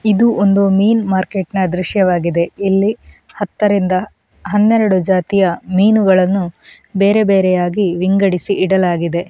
ಇದು ಒಂದು ಮೀನು ಮಾರ್ಕೆಟ್‌ನ ದೃಶ್ಯವಾಗಿದೆ ಇಲ್ಲಿ ಹತ್ತರಿಂದ ಹನ್ನೇರಡು ಜಾತಿಯ ಮೀನುಗಳನ್ನು ಬೇರೆ ಬೇರೆಯಾಗಿ ವಿಗಂಡಿಸಿ ಇಡಲಾಗಿದೆ.